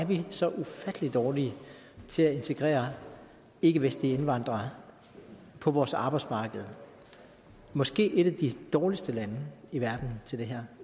vi er så ufattelig dårlige til at integrere ikkevestlige indvandrere på vores arbejdsmarked måske er vi et af de dårligste lande i verden til det her